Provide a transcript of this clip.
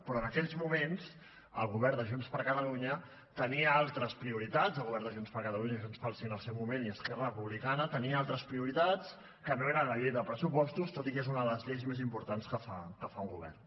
però en aquells moments el govern de junts per catalunya tenia altres prioritats el govern de junts per catalunya junts pel sí en el seu moment i esquerra republicana que no eren la llei de pressupostos tot i que és una de les lleis més importants que fa un govern